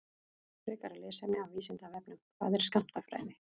Frekara lesefni af Vísindavefnum: Hvað er skammtafræði?